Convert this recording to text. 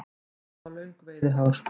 Moldvörpur hafa löng veiðihár.